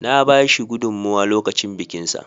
Na ba shi gudunmowa lokacin bikinsa.